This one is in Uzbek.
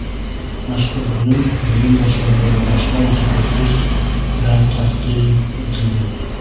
Mazkur bo‘lim bo‘lim boshlig‘i va bosh mutaxassis bilan taqdim etilgan.